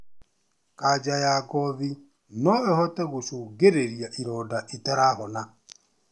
Kanja ya ngothi no ĩhote gũcũngĩrĩria ironda itarahona